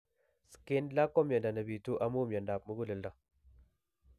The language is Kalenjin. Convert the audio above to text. Schindler ko miondo nepitu amu miondop muguleldo